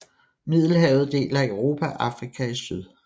Middelhavet deler Europa og Afrika i syd